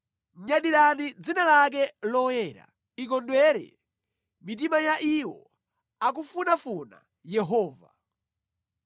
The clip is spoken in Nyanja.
Nyadirani dzina lake loyera; ikondwere mitima ya iwo akufunafuna Yehova.